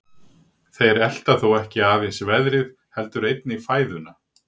Þeir elta þó ekki aðeins veðrið heldur einnig fæðuna.